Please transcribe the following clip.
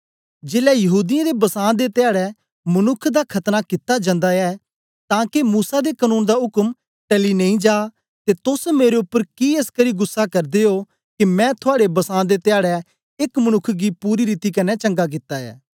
जेलै यहूदीयें दे बसां दे धयाड़ै मनुक्ख दा दा खतना कित्ता जंदा ऐ तां के मूसा दे कनून दा उक्म टली नेई जा ते तोस मेरे उपर कि एसकरी गुस्सा करदे ओ के मैं थुआड़े बसां दे धयाड़ै एक मनुक्ख गी पूरी रीति कन्ने चंगा कित्ता ऐ